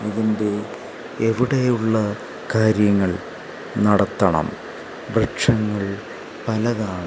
ഇതിൻ്റെ എവിടേയോ ഉള്ള കാര്യങ്ങൾ നടത്തണം ലക്ഷ്യങ്ങൾ പലതാണ്.